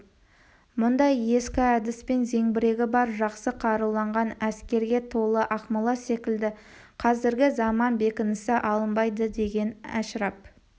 мұндай ескі әдіспен зеңбірегі бар жақсы қаруланған әскерге толы ақмола секілді қазіргі заман бекінісі алынбайды деген әшірап